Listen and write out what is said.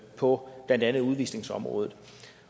på blandt andet udvisningsområdet